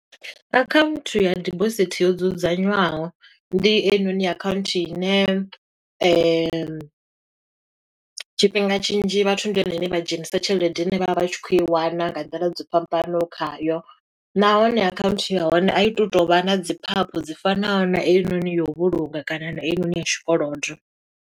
Akhaunthu ya dibosithi yo dzudzanywaho, ndi heyinoni akhaunthu ine , tshifhinga tshinzhi vhathu ndi yone ine vha dzhenisa tshelede ine vha vha vha tshi khou i wana nga nḓila dzi fhambanoho khayo. Nahone akhaunthu ya hone, a i tu to vha na dzi phaphu dzi fanaho na heinoni ya u vhulunga kana na heinoni ya tshikolodo.